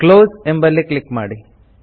close ಎಂಬಲ್ಲಿ click ಮಾಡಿ